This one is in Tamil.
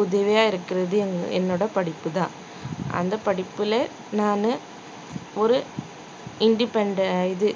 உதவியா இருக்கறது என்~ என்னோட படிப்புதான் அந்த படிப்புல நானு ஒரு independen~ இது